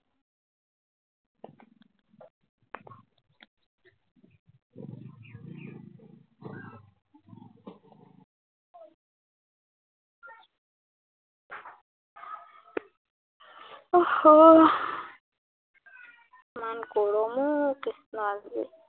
উহ হম ইমান গৰম অ কৃষ্ণ আজি।